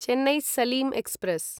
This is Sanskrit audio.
चेन्नै सलीं एक्स्प्रेस्